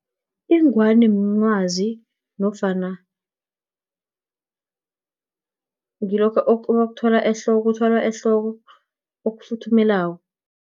Ingwani, mncwazi, nofana ngilokha okuthwalwa ehloko, okufuthumelako.